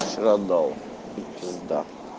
вчера дал пизда